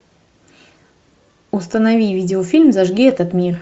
установи видеофильм зажги этот мир